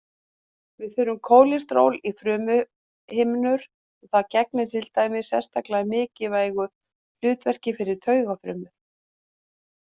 Við þurfum kólesteról í frumuhimnur og það gegnir til dæmis sérstaklega mikilvægu hlutverki fyrir taugafrumur.